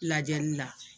Lajɛli la